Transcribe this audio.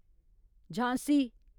Jhansi